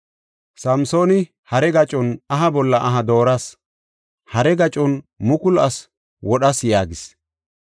Samsooni, “Hare gacon, aha bolla aha dooras. Hare gacon mukulu asi wodhas” yaagis.